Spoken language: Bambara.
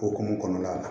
Okumu kɔnɔla la